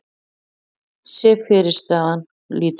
sé fyrirstaðan lítil.